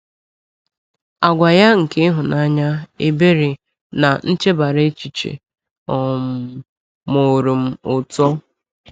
Àgwà ya nke ịhụnanya, ebere, na nchebara echiche um mụụrụ m ụtọ.